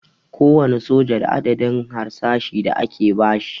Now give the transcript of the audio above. Kowane soja da adadin harsashi da ake basi